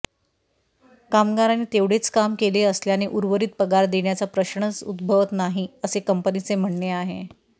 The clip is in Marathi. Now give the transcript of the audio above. कामगारांनी तेवढेच काम केले असल्याने उर्वरित पगार देण्याचा प्रश्नच उद्भवत नाही असे कंपनीचे म्हणणे आहे